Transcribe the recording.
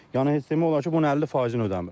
Yəni heç demək olar ki, bunun 50 faizini ödəmir.